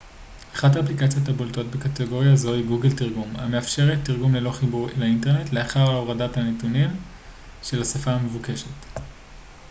אחת האפליקציות הבולטות בקטגוריה זו היא גוגל תרגום המאפשרת תרגום ללא חיבור אינטרנט לאחר הורדה הנתונים של השפה המבוקשת